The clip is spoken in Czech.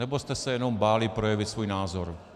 Nebo jste se jenom báli projevit svůj názor?